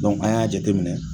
an y'a jateminɛ